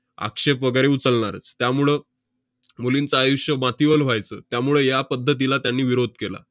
आक्षेप वगैरे उचलणारच. त्यामुळं मुलींचं आयुष्य मातीमोल व्हायचं. त्यामुळं या पद्धतीला त्यांनी विरोध केला.